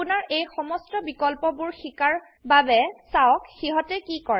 আপোনাৰ এই সমস্ত বিকল্পবোৰ শিকাৰ বাবেচাওক সিহতে কি কৰে